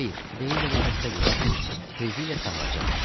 Xeyr, deyirlər o xəstədir, lakin tezliklə sağalacaq.